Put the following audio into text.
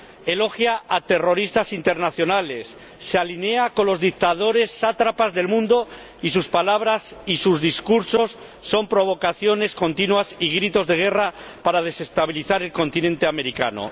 elogia a terroristas internacionales, se alinea con los dictadores sátrapas del mundo, y sus palabras y sus discursos son provocaciones continuas y gritos de guerra para desestabilizar el continente americano.